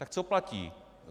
Tak co platí?